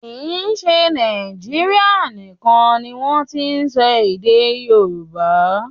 Kì í ṣe Nàíjírìa nìkan ni wọ́n ti n sọ èdè Yorùbá.